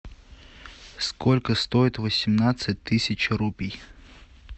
сколько стоит восемнадцать тысяч рупий